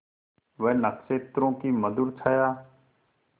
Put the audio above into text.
वह नक्षत्रों की मधुर छाया